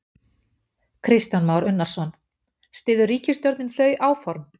Kristján Már Unnarsson: Styður ríkisstjórnin þau áform?